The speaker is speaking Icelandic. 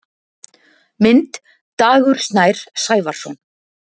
Mynd: Dagur Snær Sævarsson.